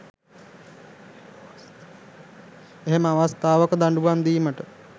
එහෙම අවස්ථාවක දඩුවම් දීමට